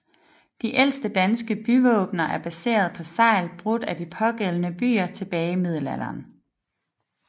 De ældste danske byvåbener er baserede på segl brugt af de pågældende byer tilbage i middelalderen